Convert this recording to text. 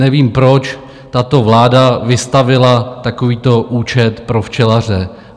Nevím, proč tato vláda vystavila takovýto účet pro včelaře.